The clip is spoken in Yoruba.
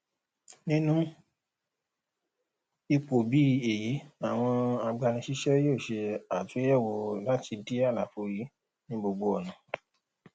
nínu ipò bí èyí àwọn agbanisíṣé yóò ṣe àtuyèwò láti dí àlàfò yìí ní gbogbo ònà